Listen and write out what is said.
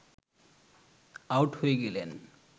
out হয়ে গেলেন